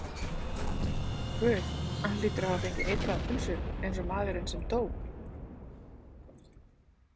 Guð, hann hlýtur að hafa fengið eitraða pulsu, einsog maðurinn sem dó.